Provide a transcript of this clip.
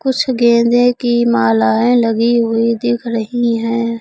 कुछ गेंदे की मालाएं लगी हुई दिख रही हैं।